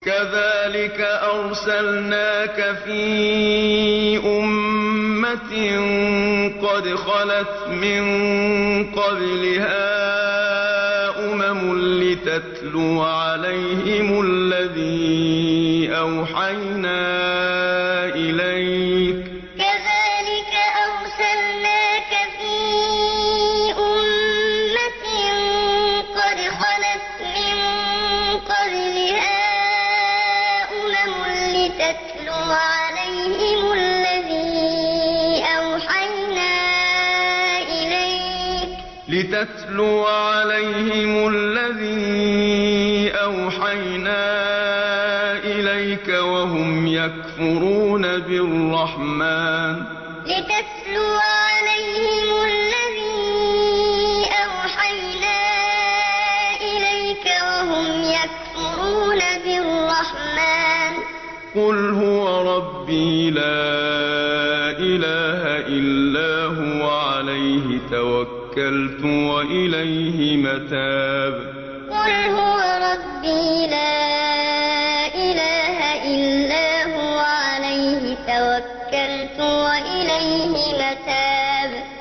كَذَٰلِكَ أَرْسَلْنَاكَ فِي أُمَّةٍ قَدْ خَلَتْ مِن قَبْلِهَا أُمَمٌ لِّتَتْلُوَ عَلَيْهِمُ الَّذِي أَوْحَيْنَا إِلَيْكَ وَهُمْ يَكْفُرُونَ بِالرَّحْمَٰنِ ۚ قُلْ هُوَ رَبِّي لَا إِلَٰهَ إِلَّا هُوَ عَلَيْهِ تَوَكَّلْتُ وَإِلَيْهِ مَتَابِ كَذَٰلِكَ أَرْسَلْنَاكَ فِي أُمَّةٍ قَدْ خَلَتْ مِن قَبْلِهَا أُمَمٌ لِّتَتْلُوَ عَلَيْهِمُ الَّذِي أَوْحَيْنَا إِلَيْكَ وَهُمْ يَكْفُرُونَ بِالرَّحْمَٰنِ ۚ قُلْ هُوَ رَبِّي لَا إِلَٰهَ إِلَّا هُوَ عَلَيْهِ تَوَكَّلْتُ وَإِلَيْهِ مَتَابِ